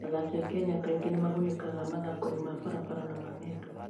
Athaki a Kenya kaingĩ nĩ magunĩkaga mathaako-inĩ ma barabara na ma ng'endo.